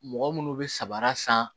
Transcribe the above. Mɔgɔ munnu be samara san